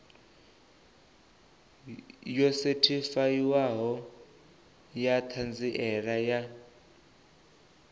yo sethifaiwaho ya ṱhanziela ya